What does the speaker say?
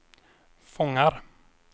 fångar